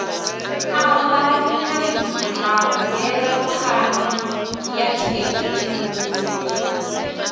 avhanya ha mvelaphana ya thekhinolodzhi